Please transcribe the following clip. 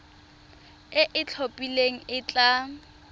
e e itlhophileng e tla